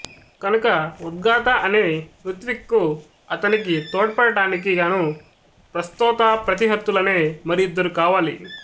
కనుక ఉద్గాత అనే ఋత్విక్కు అతనికి తోడ్పడడానికి గాను ప్రస్తోతాప్రతిహర్తులనే మరి ఇద్దరు కావాలి